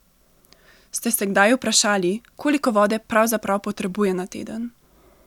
Ste se kdaj vprašali, koliko vode pravzaprav potrebuje na teden?